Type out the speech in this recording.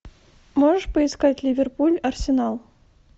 можешь поискать ливерпуль арсенал